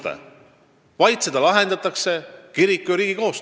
Ja ma pean langetatud otsust õigeks.